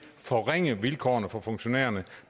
forringe vilkårene for funktionærerne